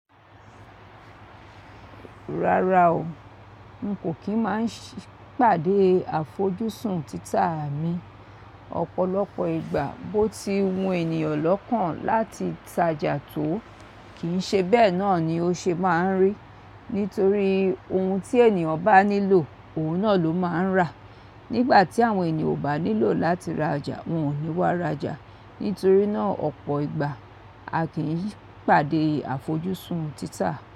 Rárá o, n kò kí ń máa ń ṣì pàdé àfojúsùn títà mi. Ọ̀pọ̀lọpọ̀ ìgbà bó ti wun ènìyàn lọ́kàn láti tajà tó, kìí ṣe bẹ́ẹ̀ náà ni ó ṣe máa ń rí. Nítorí ohun tí ènìyàn bá nílò, òun náà ló máa ń rà. Nígbà tí àwọn ènìyàn ò bá nílò láti rajà, wọn ò ní wá rajà. Nítorí náà, ọ̀pọ̀ ìgbà a kì í pàdé àfojúsùn títà.